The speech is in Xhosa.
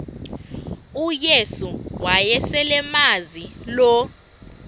uyesu wayeselemazi lo